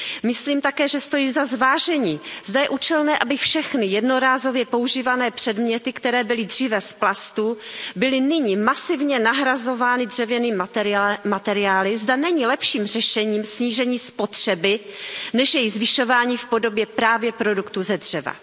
Myslím také, že stojí za zvážení, zda je účelné, aby všechny jednorázově používané předměty, které byly dříve z plastu, byly nyní masivně nahrazovány dřevěnými materiály, zda není lepším řešením snížení spotřeby než její zvyšování v podobě právě produktů ze dřeva.